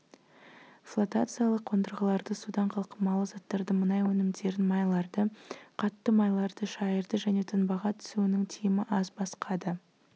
флотациялық қондырғыларды судан қалқымалы заттарды мұнай өнімдерін майларды қатты майларды шайырды және тұнбаға түсуінің тиімі аз басқа да